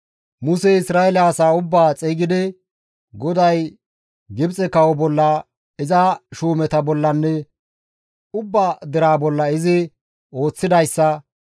Musey Isra7eele asaa ubbaa xeygidi, GODAY Gibxe kawo bolla, iza shuumeta bollanne ubba deraa bolla izi ooththidayssa,